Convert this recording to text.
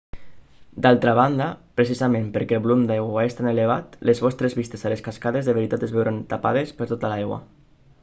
d'altra banda precisament perquè el volum d'aigua és tan elevat les vostres vistes a les cascades de veritat es veuran tapadesper tota l'aigua!